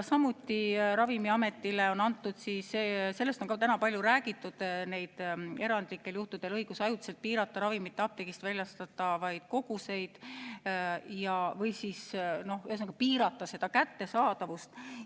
Ravimiametile on ka antud – sellestki on täna palju räägitud – erandlikel juhtudel õigus ajutiselt piirata ravimite apteegist väljastatavaid koguseid, ühesõnaga, piirata kättesaadavust.